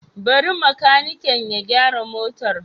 Bari makaniki ya gyara motar.